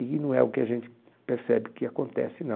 E não é o que a gente percebe que acontece, não.